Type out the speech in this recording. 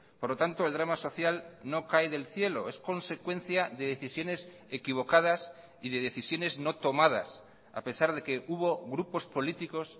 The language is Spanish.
por lo tanto el drama social no cae del cielo es consecuencia de decisiones equivocadas y de decisiones no tomadas a pesar de que hubo grupos políticos